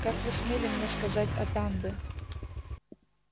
как вы смели мне сказать атанде